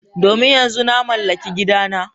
Domin yanzu na mallaki gidana.